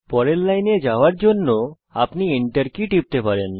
পরের লাইনে যাওয়ার জন্য আপনি Enter কী টিপতে পারেন